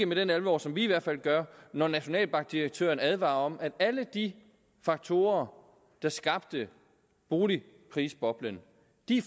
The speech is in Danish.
med den alvor som vi i hvert fald gør når nationalbankdirektøren advarer om at alle de faktorer der skabte boligprisboblen